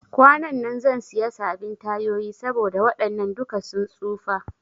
Kwanan zan siya sabin tayoyi saboda waɗannan duka sun tsufa